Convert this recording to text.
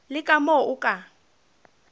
le ka moo o ka